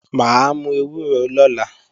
Mà á mú ewúro lọ́la